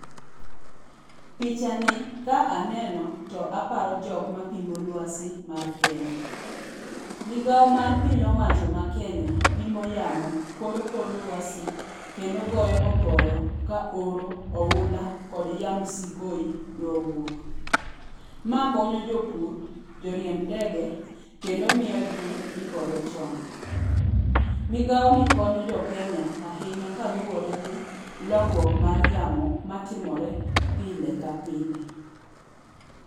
Picha ni ka aneno to aparo jok ma pimo lwasi mar Kenya. Migao mar piny owach ma Kenya pimo yamo, koro kor lwasi, kendo goyo oporo ka oro oula kod yamb sikoi dwa wuok. Ma konyo jopur, joriemb ngede kendo miyo ji ikore chon. Migao ni konyo jo Kenya ahinya kaluwore gi lokruok mar yamo matimore pile ka pile.